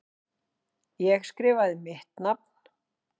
Ég skrifaði mitt nafn.